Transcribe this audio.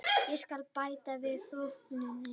Ég skal bæta við þóknunina.